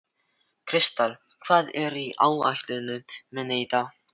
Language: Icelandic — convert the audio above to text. Kristall, hvað er á áætluninni minni í dag?